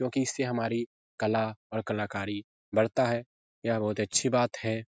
क्योंकि इससे हमारी कला और कलाकारी बढ़ता है यह बहुत अच्छी बात है।